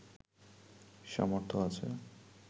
সামর্থ্য আছে